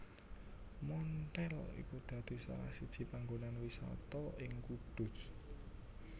Monthel iku dadi salah siji panggonan wisata ing Kudus